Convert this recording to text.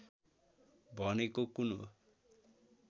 भनेको कुन हो